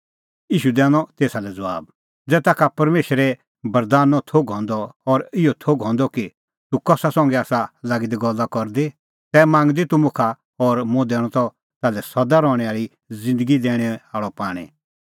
ईशू दैनअ तेसा लै ज़बाब ज़ै ताखा परमेशरे बरदानो थोघ हंदअ और इहअ थोघ हंदअ कि तूह कसा संघै आसा लागी दी गल्ला करदी तै मांगदी तूह मुखा और मुंह दैणअ त ताल्है सदा रहणैं आल़ी ज़िन्दगी दैणैं आल़अ पाणीं